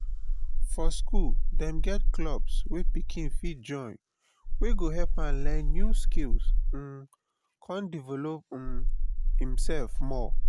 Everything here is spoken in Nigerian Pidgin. for school dem get clubs wey pikin fit join wey go help am learn new skills um come develop um imself more